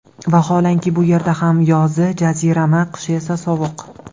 Vaholanki, bu yerda ham yozi jazirama, qishi esa sovuq.